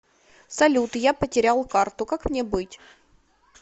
салют я потерял карту как мне быть